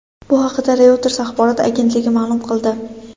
Bu haqida Reuters axborot agentligi ma’lum qildi.